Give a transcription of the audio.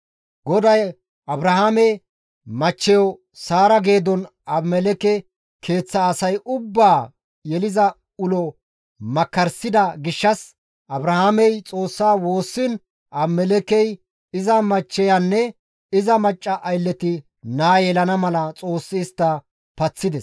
GODAY Abrahaame machcheyo Saara geedon Abimelekke keeththa asa ubbaa yeliza ulo makkarssida gishshas Abrahaamey Xoossaa woossiin Abimelekkey iza machcheyanne iza macca aylleti naa yelana mala Xoossi istta paththides.